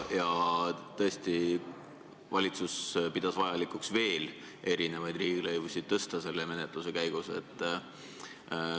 Tõesti, valitsus pidas vajalikuks selle menetluse käigus veel erinevaid riigilõivusid tõsta.